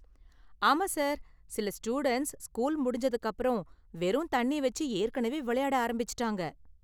ஆமா சார், சில students school முடிஞ்சதுக்கு அப்பறம் வெறும் தண்ணி வெச்சு ஏற்கனவே விளையாட ஆரம்பிச்சிட்டாங்க!